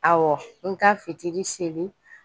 Ɔwɔ n ka fitiri seli